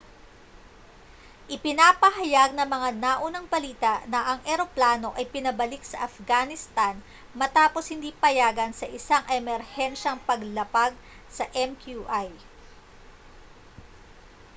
ipinapahayag ng mga naunang balita na ang eroplano ay pinabalik sa afghanistan matapos hindi payagan sa isang emerhensiyang paglapag sa ãœrã¼mqi